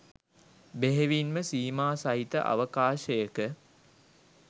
බෙහෙවින්ම සීමාසහිත අවකාශයක